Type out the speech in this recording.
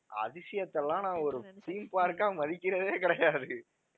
அதிசயத்தெல்லாம் நான் ஒரு theme park ஆஹ் மதிக்கிறதே கிடையாது